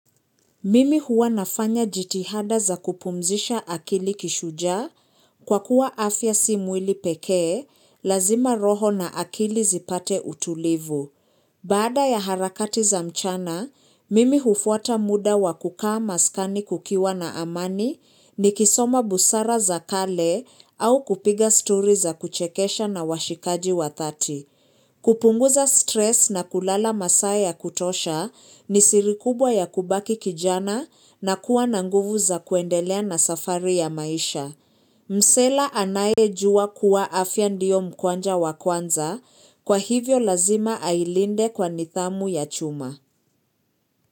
Mimi huwa nafanya jitihada za kupumzisha akili kishujaa kwa kuwa afya si mwili pekee, lazima roho na akili zipate utulivu. Baada ya harakati za mchana, mimi hufuata muda wa kukaa maskani kukiwa na amani ni kisoma busara za kale au kupiga story za kuchekesha na washikaji wa dhati. Kupunguza stress na kulala masaa ya kutosha ni siri kubwa ya kubaki kijana na kuwa na nguvu za kuendelea na safari ya maisha. Msela anayejua kuwa afya ndio mkwanja wakwanza kwa hivyo lazima ailinde kwa nidhamu ya chuma.